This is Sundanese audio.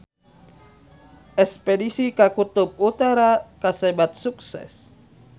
Espedisi ka Kutub Utara kasebat sukses